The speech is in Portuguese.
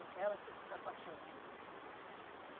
Ela quis ficar com a Santa?